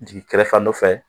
Jigin kɛrɛ fan dɔ fɛ